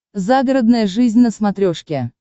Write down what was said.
загородная жизнь на смотрешке